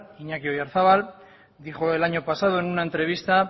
iñaki oyarzabal dijo el año pasado en una entrevista